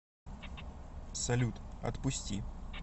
салют отпусти